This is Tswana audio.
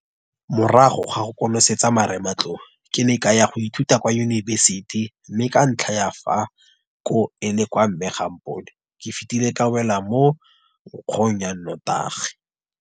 Morago ga go konosetsa marematlou, ke ne ka ya go ithuta kwa yunibesiti mme ka ntlha ya fa koo e le kwa mme ga a mpone, ke fetile ka wela mo nkgong ya notagi.